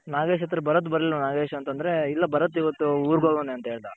ನಾಗೇಶ್ ಹತ್ರ ಭರತ್ ಬರಲಿಲ್ವ ನಾಗೇಶ್ ಅಂದ್ರೆ ಇಲ್ಲ ಭರತ್ ಇವತ್ತು ಊರ್ಗ್ ಹೊಗೊವ್ನೆ ಅಂತ ಹೇಳ್ದ.